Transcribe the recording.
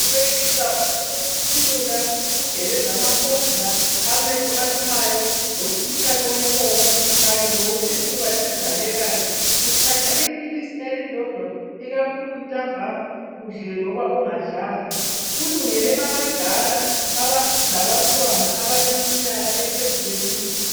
ukwehlisa ukuthimula, ukugeleza amakhovula, amehlo alumayo lomkhuhlane wenkomo kanye lowesifuba esivalekayo. Uthaths iphilisi elilodwa ikakhulu ntambama udlile loba ungadlanga. Ulungele abadala labantwana abaphezu kweminyaka emibili.